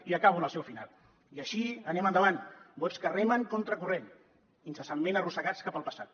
i acabo amb el seu final i així anem endavant bots que remen contracorrent incessantment arrossegats cap al passat